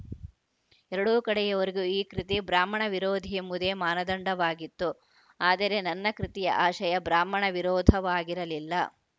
ಎರಡೂ ಕಡೆಯವರಿಗೂ ಈ ಕೃತಿ ಬ್ರಾಹ್ಮಣ ವಿರೋಧಿಯೆಂಬುದೇ ಮಾನದಂಡವಾಗಿತ್ತು ಆದರೆ ನನ್ನ ಕೃತಿಯ ಆಶಯ ಬ್ರಾಹ್ಮಣ ವಿರೋಧವಾಗಿರಲಿಲ್ಲ